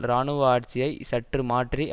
இராணுவ ஆட்சியை சற்று மாற்றி